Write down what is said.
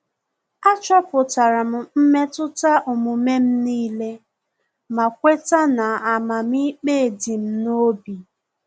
Achọpụtara m mmetụta omume m nile ma kweta na amamikpe di m n'obi